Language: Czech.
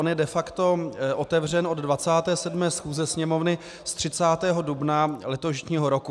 On je de facto otevřen od 27. schůze Sněmovny z 30. dubna letošního roku.